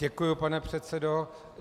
Děkuji, pane předsedo.